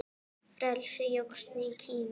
Frelsi jókst í Kína.